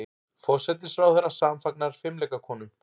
Forsætisráðherra samfagnar fimleikakonum